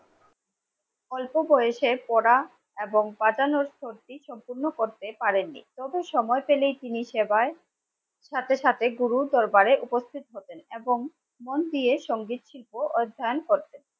অল্প বয়সে পড়া এবং বাজানোর জন্য করতে পারেননি. যত সময় পেলেই তিনি সেবায় সাথে সাথে গুরুর দরবারে উপস্থিত হতেন এবং মন দিয়ে সংগীত শিল্প অধ্যায়ন করতেন